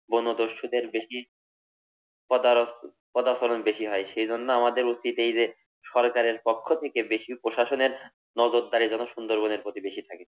বনদস্যুদের বেশি পাদারত পদাচারন বেশি হয়। সেই জন্য আমাদের উচিত এই যে, সরকারের পক্ষ থেকে বেশি প্রশাসনের নজরদারী যেন সুন্দরবনের প্রতি বেশি থাকে।